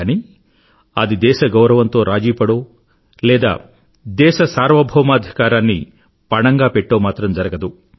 కానీ అది దేశ గౌరవంతో రాజీ పడో లేదా దేశ సార్వభౌమాధికారాన్ని పణంగా పెట్టో మాత్రం జరగదు